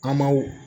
An m'aw